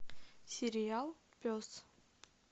сериал пес